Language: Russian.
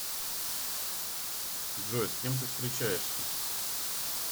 джой с кем ты встречаешься